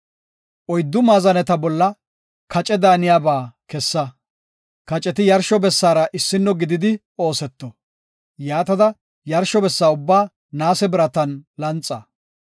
Oyddu maazaneta bolla kace daaniyaba kessa; kaceti yarsho bessaara issino gididi ooseto. Yaatada, yarsho bessa ubbaa naase biratan laxa.